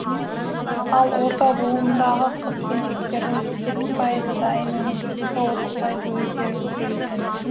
ал орта буындағы қыз келіншекетердің жетпіс пайызы дайын өнім тұтынса отыз пайызы өздері пісіреді екен